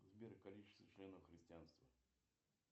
сбер количество членов христианства